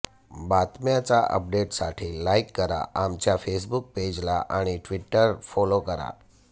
बातम्यांच्या अपडेटसाठी लाईक करा आमच्या फेसबुक पेज ला आणि टि्वटरवर फाॅलो करा